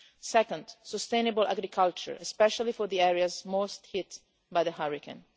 Second, sustainable agriculture, especially for the areas hardest hit by the hurricane.